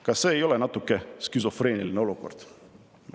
Kas see ei ole natuke skisofreeniline olukord?